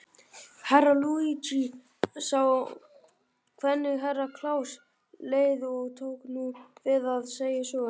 Herra Luigi sá hvenig Herra Kláus leið og tók nú við að segja söguna.